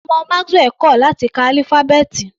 Ọmọ Maxwell kò láti ka álífábẹ́ẹ̀tì.